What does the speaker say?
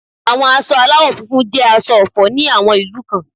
Àwọn aṣọ aláwò funfun jẹ́ aṣọ ọ̀fọ̀ ní àwọn ìlú kan